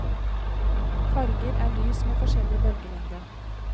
Farger er lys med forskjellig bølgelengde.